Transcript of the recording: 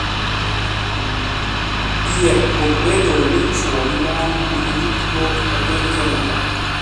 Dhier kod bedo ni chwo gi mon nigi tudruok e piny Kenya.